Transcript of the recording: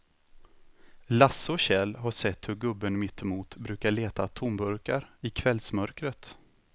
Lasse och Kjell har sett hur gubben mittemot brukar leta tomburkar i kvällsmörkret.